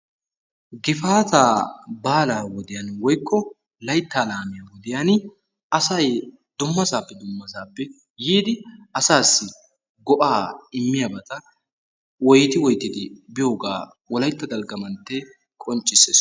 Gifaataa baalaa wodiyan woykko laytta laamiya wodiyan asay dummasaappe dummasaappe yiidi asaassi go'aa immiyabata wotti woytidi biyogaa wolaytta dalgga manttee qonccissees.